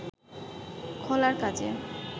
খোলার কাজে